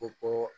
U ko